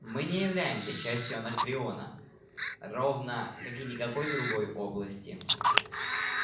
мы не являемся частью анакреона ровно как и никакой другой области